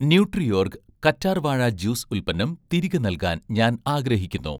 Nutriorg' കറ്റാർ വാഴ juice ഉൽപ്പന്നം തിരികെ നൽകാൻ ഞാൻ ആഗ്രഹിക്കുന്നു